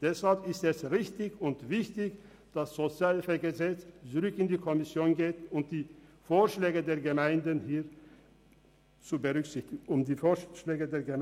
Deshalb ist es richtig und wichtig, dass das SHG zurück in die Kommission geht und die Vorschläge der Gemeinden hier berücksichtigt werden.